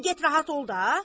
Di get rahat ol da.